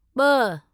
ॿ